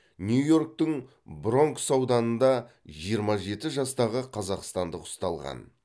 нью йорктің бронкс ауданында жиырма жеті жастағы қазақстандық ұсталған